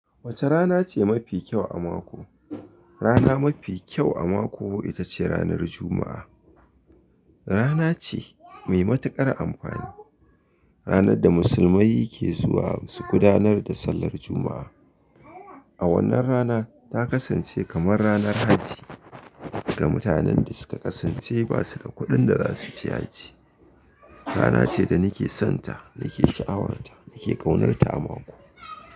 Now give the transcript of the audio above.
Wace rana ce mafi kyau a mako? Rana mafi kyau a mako, ita ce ranar Juma'a. Rana ce mai matuƙar amfani. Ranar da musulmai ke zuwa su gudanar da sallar Juma'a. A wannan rana ta kasance kamar ranar hajji ga mutanen da suka kasance ba su da kuɗin da za su je hajji. Rana ce da nake sonta, nake sha'awarta, nake ƙaunarta a mako.